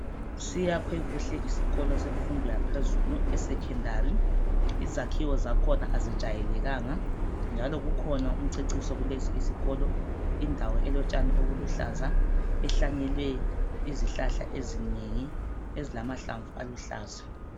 Siyakhwe kuhle isikolo esemfundo yaphezulu esecondary, izakhiwo zakhona azijayelekanga njalo kukhona umceciso kulesi isikolo, indawo elotshani obuluhlaza ehlanyele izihlahla ezinengi ezilamahlamvu aluhlaza.